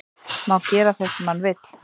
Má gera það sem hann vill